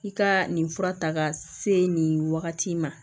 I ka nin fura ta ka se nin wagati in ma